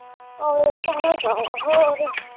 ਆਹੋ ਇਹ ਤੇ ਹੈਗਾ ਵਾ ਹੋਰ।